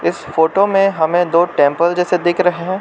Photo में हमें दो टेंपल जैसे दिख रहे हैं।